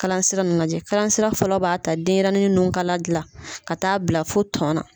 Kalasira nunnu lajɛ. Kalasira fɔlɔ b'a ta denyɛrɛnin nunkala dilan ka t'a bila fo tɔn na.